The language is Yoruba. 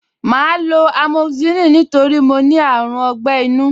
Màá lo amoxicillin nítorí mo ní àrùn ọgbẹ́-inú